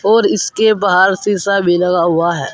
और इसके बाहर शीशा भी लगा हुआ है।